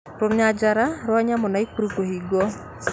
Runyanjara rwa nyamũ rwa Naikuru kũhingwo